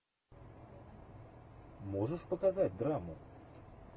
можешь показать драму